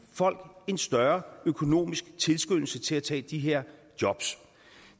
folk en større økonomisk tilskyndelse til at tage de her jobs